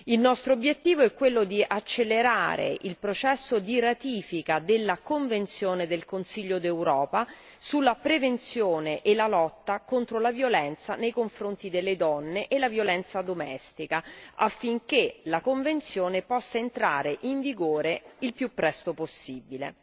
Il nostro obiettivo è quello di accelerare il processo di ratifica della convenzione del Consiglio d'Europa sulla prevenzione e la lotta contro la violenza nei confronti delle donne e la violenza domestica affinché la convenzione possa entrare in vigore il più presto possibile.